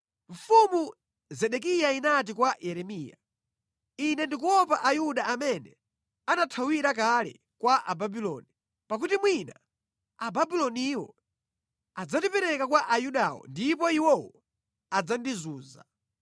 Mfumu Zedekiya inati kwa Yeremiya, “Ine ndikuopa Ayuda amene anathawira kale kwa Ababuloni, pakuti mwina Ababuloniwo adzandipereka kwa Ayudawo ndipo iwowo adzandizunza.”